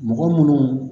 Mɔgɔ munnu